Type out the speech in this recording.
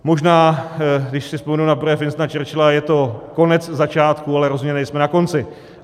Možná když si vzpomenu na projev Winstona Churchilla, je to konec začátku, ale rozhodně nejsme na konci.